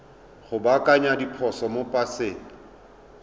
go baakanya diphoso mo paseng